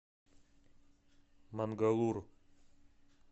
мангалур